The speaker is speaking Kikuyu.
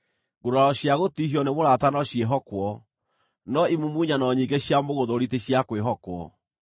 Nguraro cia gũtihio nĩ mũrata no ciĩhokwo, no imumunyano nyingĩ cia mũgũthũũri ti cia kwĩhokwo.